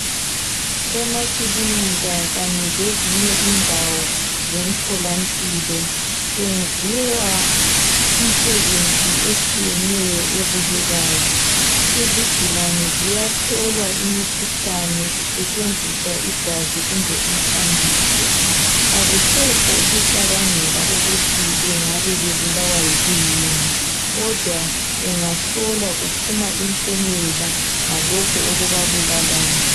Emakilinika kanye lezinye indawo zemtholampilo kwenziwa imisebenzi etshiyeneyo ebukekayo. Izigulane ziyahlolwa imikhuhlane kusetshenziswa igazi kumbe umthambiso akusekho ukucabangela ukuthi bengabe bebulawa yikuyini kodwa bengahlolwa kuphuma impumela ngalokhu okubabulalayo.